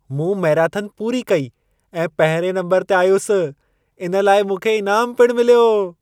मूं मैराथन पूरी कई ऐं पहिरिएं नम्बर ते आयुसि। इन लाइ मूंखे इनामु पिणु मिलियो।